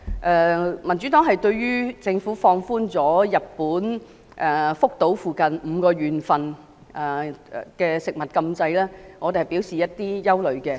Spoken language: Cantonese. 然而，民主黨對於政府放寬日本福島附近5個縣的食物禁制表示憂慮。